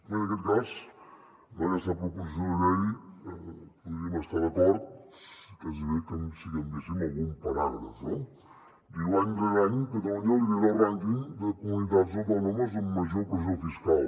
bé en aquest cas amb aquesta proposició de llei podríem estar d’acord gairebé si canviéssim algun paràgraf no diu any rere any catalunya lidera el rànquing de comunitats autònomes amb major pressió fiscal